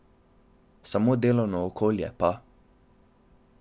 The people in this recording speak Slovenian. Samo delovno okolje pa ...